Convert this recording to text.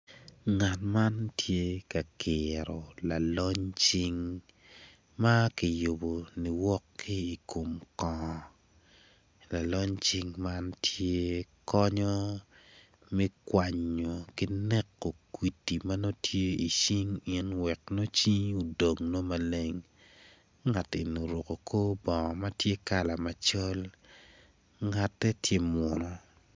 Ngat man tye ka kiro lalony cing makiyubo niwok ki i kom kongo lalony cing man tye konyo me kwanyo ki neko kudi manongo tye i cing in wek cingi odong nongo maleng ngati eni oruko kor bongo matye kala macol, ngatte tye munu.